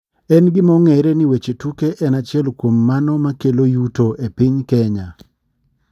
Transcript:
En gima ong'ere ni weche tuke en achiel kuom mano makelo yudo e piny kenya.